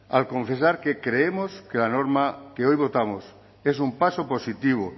al confesar que creemos que la norma que hoy votamos es un paso positivo